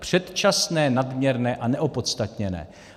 Předčasné, nadměrné a neopodstatněné.